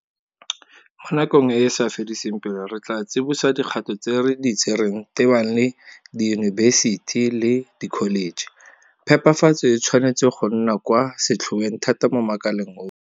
Mo nakong e e sa fediseng pelo re tla tsibosa dikgato tse re di tsereng tebang le diyunibesiti le dikholeje. Phepafatso e tshwanetse go nna kwa setlhoeng thata mo makaleng otlhe.